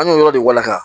An y'o yɔrɔ de walaka